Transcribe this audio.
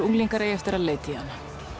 unglingar eigi eftir að leita í hana